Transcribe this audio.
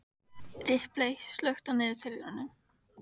Ripley, slökktu á niðurteljaranum.